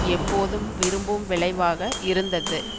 எப்போதும் விரும்பும் விளைவாக இருந்தது